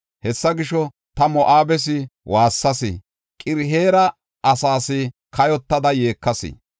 Hessa gisho, ta Moo7abes waassas; Qir-Hereesa asaas kayotada yeekayis.